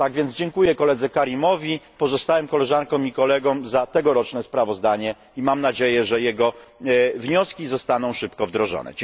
Tak więc dziękuję koledze Karimowi, pozostałym koleżankom i kolegom za tegoroczne sprawozdanie i mam nadzieję, że jego wnioski zostaną szybko wdrożone.